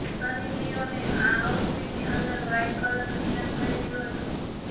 સની લિયોને આ આઉટફિટની અંદર વ્હાઇટ કલરનું ઇનર પહેર્યુ હતું